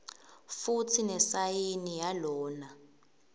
futsi nesayini yalona